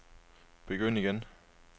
begynd igen